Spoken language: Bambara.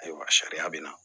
Ayiwa sariya bɛ na